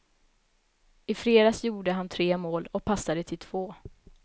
I fredags gjorde han tre mål och passade till två.